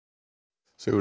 Sigurður